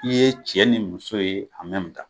I ye cɛ ni muso ye an mɛmi tan